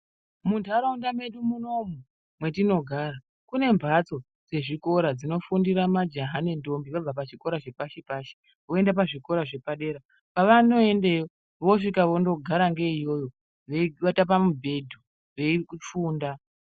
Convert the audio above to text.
Muntaraunda medu munomu mwetinogara kune mhatso dzezvikora dzInofundira majaha nendombi vabva pazvikora zvepashi pashi woenda pazvikora zvepadera pavanoendeyo vosvika vonogara ngei yoyo veiwata pamubhedhu veifunda.